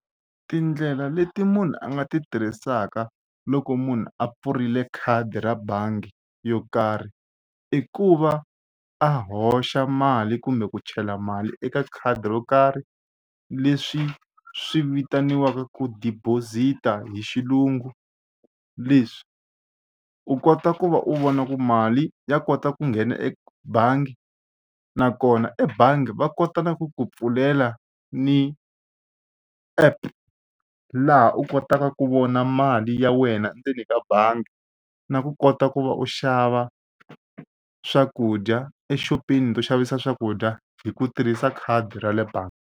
Tindlela leti munhu a nga ti tirhisaka loko munhu a pfurile khadi ra bangi yo karhi i ku va a hoxa mali kumbe ku chela mali eka khadi ro karhi leswi swi vitaniwaku ku deposit-a hi xilungu. Leswi u kota ku va u vona ku mali ya kota ku nghena ebangi nakona ebangi va kota na ku ku pfulela ni app laha u kotaka ku vona mali ya wena endzeni ka bangi na ku kota ku va u xava swakudya exopeni yo xavisa swakudya hi ku tirhisa khadi ra le bangi.